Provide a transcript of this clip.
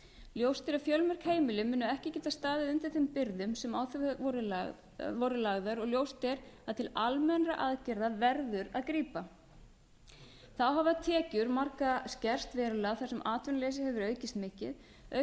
ljóst er að fjölmörg heimili munu ekki geta staðið undir þeim byrðum sem á þau voru lagðar og ljóst að til almennra aðgerða verður að grípa þá hafa tekjur margra skerst verulega þar sem atvinnuleysi hefur aukist mikið auk